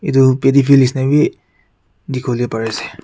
etu paddy field nisha na bi dikhi wo le pari ase.